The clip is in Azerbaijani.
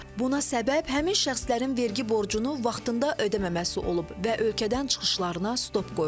Buna səbəb həmin şəxslərin vergi borcunu vaxtında ödəməməsi olub və ölkədən çıxışlarına stop qoyulub.